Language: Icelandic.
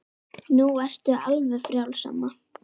Nú ertu frjáls, amma.